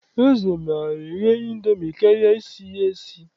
Eze maara eghe Indomi karịa isi ya esi.